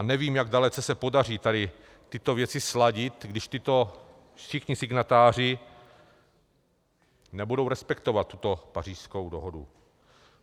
A nevím, jak dalece se podaří tady tyto věci sladit, když tito všichni signatáři nebudou respektovat tuto Pařížskou dohodu.